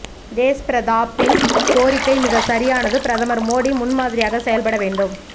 தேஷ்பிரதாப் ன் கோரிக்கை மிகச் சரியானது பிரதமர் மோடி முன் மாதிரியாக செயல் பட வேண்டும்